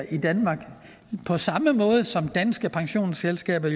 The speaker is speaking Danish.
i danmark på samme måde som danske pensionsselskaber